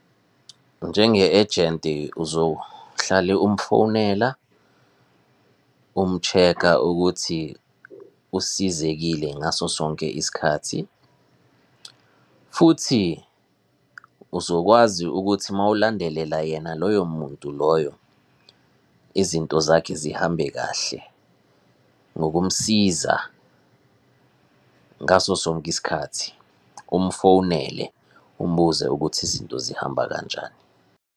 Njenge-ejenti uzohlale umfonela, umu-check-a ukuthi usizekile ngaso sonke isikhath. Futhi uzokwazi ukuthi mawulandelela yena loyo muntu loyo, izinto zakhe zihambe kahle ngokumsiza ngaso sonke isikhathi. Umfonele, umbuze ukuthi izinto zihamba kanjani.